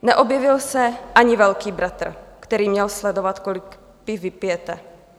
Neobjevil se ani Velký bratr, který měl sledovat, kolik piv vypijete.